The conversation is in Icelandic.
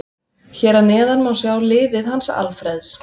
Hér að neðan má sjá liðið hans Alfreðs.